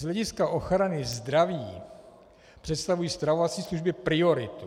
Z hlediska ochrany zdraví představují stravovací služby prioritu.